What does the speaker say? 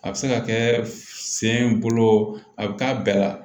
A bɛ se ka kɛ sen bolo a bɛ k'a bɛɛ la